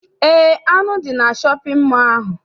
Eé, anụ dị na shọpịn mọọ ahụ.